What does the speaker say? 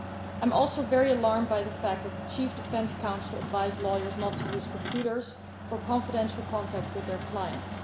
I am also very alarmed by the fact that the Chief Defense Counsel advised lawyers not to use computers for confidential contact with their clients.